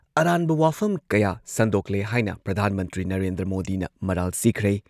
ꯑꯔꯥꯟꯕ ꯋꯥꯐꯝ ꯀꯌꯥ ꯁꯟꯗꯣꯛꯂꯦ ꯍꯥꯏꯅ ꯄ꯭ꯔꯙꯥꯟ ꯃꯟꯇ꯭ꯔꯤ ꯅꯔꯦꯟꯗ꯭ꯔ ꯃꯣꯗꯤꯅ ꯃꯔꯥꯜ ꯁꯤꯈ꯭ꯔꯦ ꯫